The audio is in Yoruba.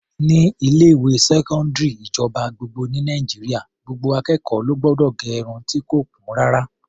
Ní ilé-ìwé sẹkọndiri ìjọba gbogbo ní Nàìjíríà, gbogbo akẹ́kọ̀ọ́ ló gbọdọ̀ gẹ irun ti kò kún rárá.